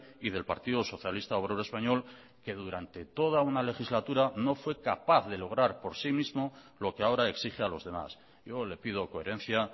y del partido socialista obrero español que durante toda una legislatura no fue capaz de lograr por sí mismo lo que ahora exige a los demás yo le pido coherencia